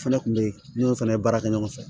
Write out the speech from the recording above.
Fɛnɛ kun be yen fɛnɛ baara kɛ ɲɔgɔn fɛ